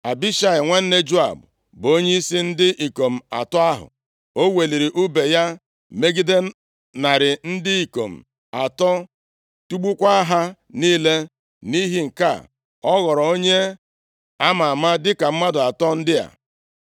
Abishai, nwanne Joab bụ onyeisi ndị ikom atọ ahụ. O weliri ùbe ya megide narị ndị ikom atọ, tigbukwaa ha niile. Nʼihi nke a, ọ ghọrọ onye a ma ama dịka mmadụ atọ ndị a.